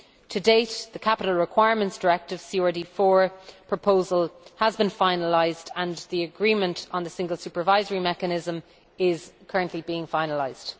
To date, the Capital Requirements Directive proposal has been finalised and the agreement on the Single Supervisory Mechanism is currently being finalised.